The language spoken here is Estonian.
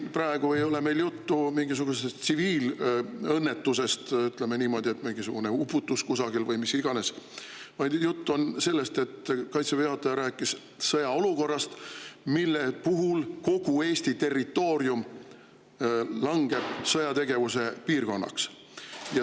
Praegu ei ole meil juttu mingisugusest tsiviilõnnetusest, ütleme niimoodi, kui on mingisugune uputus kusagil või mis iganes, vaid jutt on sellest, et Kaitseväe juhataja rääkis sõjaolukorrast, mille puhul kogu Eesti territoorium sõjategevuse piirkonnaks.